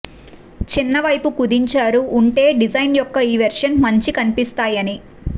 చిన్న వైపు కుదించారు ఉంటే డిజైన్ యొక్క ఈ వెర్షన్ మంచి కనిపిస్తాయని